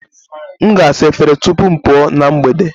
M ga-asa efere tupu m pụọ na mgbede